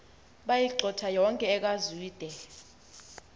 bayigxotha yonke ekazwide